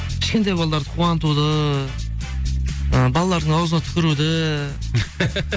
кішкентай балаларды қуантуды ы балалардың аузына түкіруді